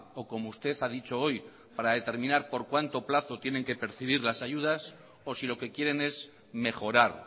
o como usted ha dicho hoy para determinar por cuanto plazo tienen que percibir las ayudas o si lo que quieren es mejorar